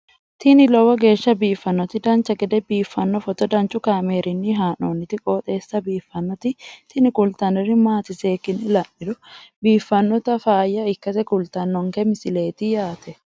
tini lowo geeshsha biiffannoti dancha gede biiffanno footo danchu kaameerinni haa'noonniti qooxeessa biiffannoti tini kultannori maatiro seekkine la'niro biiffannota faayya ikkase kultannoke misileeti yaate